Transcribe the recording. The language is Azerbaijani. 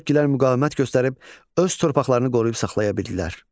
Turukkilər müqavimət göstərib öz torpaqlarını qoruyub saxlaya bildilər.